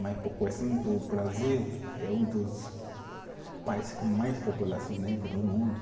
Mas por questão do Brasil, é um dos países com mais população negro do mundo.